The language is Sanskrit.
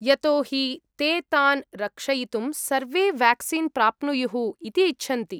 यतो हि ते तान् रक्षयितुं सर्वे वेक्सीन् प्राप्नुयुः इति इच्छन्ति।